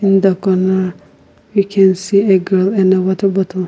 the corner we can see a can and a water bottle.